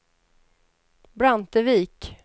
Brantevik